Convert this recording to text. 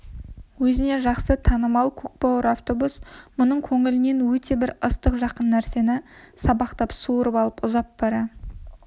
өзіне жақсы танымал көк бауыр автобус мұның көңілінен өте бір ыстық жақын нәрсені сабақтап суырып алып ұзап бара